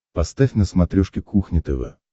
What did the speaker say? поставь на смотрешке кухня тв